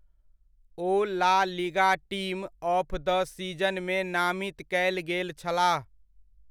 O La Liga team of the सीज़नमे नामित कयल गेल छलाह।